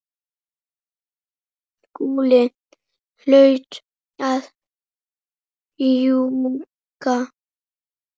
Skúli hlaut að ljúga.